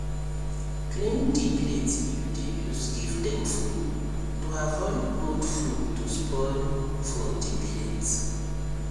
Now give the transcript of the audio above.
clean di plate you dey use give dem food to avoid old food to spoil for di plate